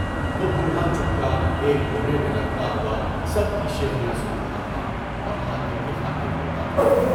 وہ بوڑھا چپکا ایک کونے میں لگتا ہوا سب کی شیخیاں سن رہا تھا اور حاتم کی خاطر روتا تھا۔